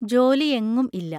ജോലി എങ്ങും ഇല്ല.